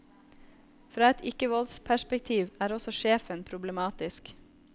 Fra et ikkevoldsperspektiv er også sjefen problematisk.